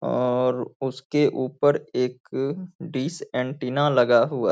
और उसके ऊपर एक डिश एंटेना लगा हुआ --